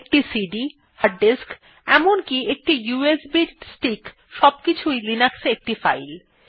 একটি CD hard disk এমনকি একটি ইউএসবি স্টিক সবকিছুই লিনাক্সে একটি ফাইল